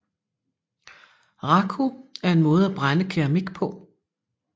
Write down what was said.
Raku er en måde at brænde keramik på